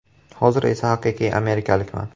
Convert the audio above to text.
Hozir esa haqiqiy amerikalikman.